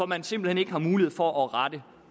man simpelt hen ikke har mulighed for at rette